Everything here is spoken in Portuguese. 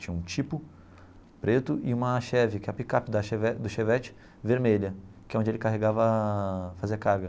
Tinha um Tipo, preto, e uma Cheve, que é a picape da Cheve do Chevette, vermelha, que é onde ele carregava, fazia carga.